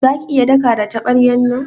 Za ki iya daka da tabaryan nan?